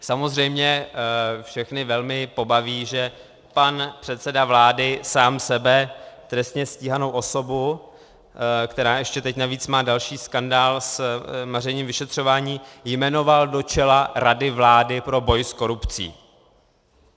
Samozřejmě všechny velmi pobaví, že pan předseda vlády sám sebe, trestně stíhanou osobu, která ještě teď navíc má další skandál s mařením vyšetřování, jmenoval do čela Rady vlády pro boj s korupcí.